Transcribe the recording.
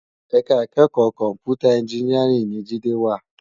Èká ikèékò kòmpútá ènjìnìárìn ni Jide wá